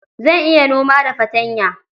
Zan iya noma da fartanya.